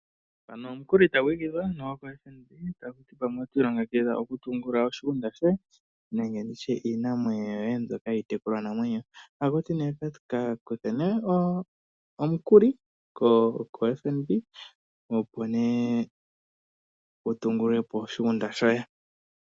Mpano omukuli tagu igidhwa koFNB, taku ti pamwe oto longekidha okutungulula oshigunda shoye nenge iinamwenyo yoye mbyoka yiitekulwanamwenyo. Otaku ti nee ka kuthe omukuli koFNB, opo wu tungulule po oshigunda shoye.